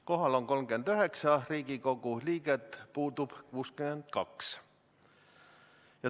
Kohal on 39 Riigikogu liiget, puudub 62.